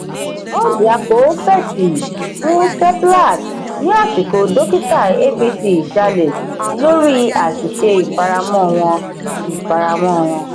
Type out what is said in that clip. orjiako fèsì fún seplat ní àsìkò dókítà abc jalẹ lórí àṣìṣe ifaramọ wọn. ifaramọ wọn.